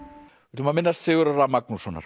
ætlum að minnast Sigurðar a Magnússonar